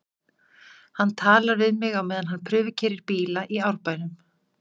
Hann talar við mig á meðan hann prufukeyrir bíla í Árbænum.